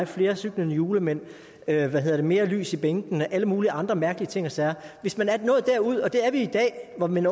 flere cyklende julemænd eller hvad ved jeg mere lys i bænkene eller alle mulige andre mærkelige ting og sager hvis man er nået derud og det er vi i dag hvor den